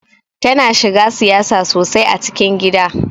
Tana shiga siyasa sosai a cikin gida.